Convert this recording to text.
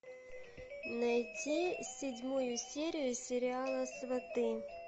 найди седьмую серию сериала сваты